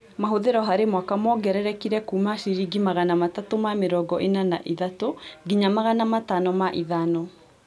Mahũthĩro harĩ mwaka mongererekire kuuma ciringi Magana matatũ ma mĩrongo ĩna na ithatũ nginya Magana Matano ma ithano